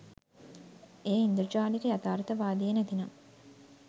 එය ඉන්ද්‍රජාලික යථාර්ථවාදය නැතිනම්